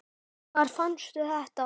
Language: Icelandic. Hvar fannstu þetta?